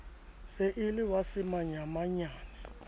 se e le wa semanyamanyane